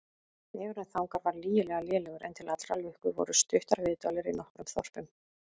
Vegurinn þangað var lygilega lélegur, en til allrar lukku voru stuttar viðdvalir í nokkrum þorpum.